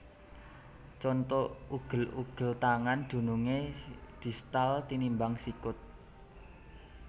Conto Ugel ugel tangan dunungé distal tinimbang sikut